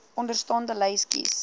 onderstaande lys kies